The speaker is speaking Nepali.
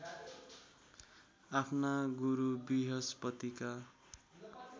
आफ्ना गुरु वृहस्पतिका